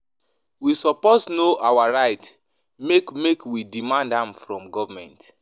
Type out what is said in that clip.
We suppose know our rights make make we demand am from government.